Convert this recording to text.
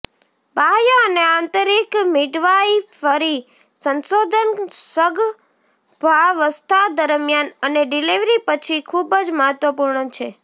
બાહ્ય અને આંતરિક મિડવાઇફરી સંશોધન સગર્ભાવસ્થા દરમિયાન અને ડિલિવરી પછી ખૂબ જ મહત્વપૂર્ણ છે